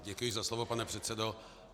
Děkuji za slovo, pane předsedo.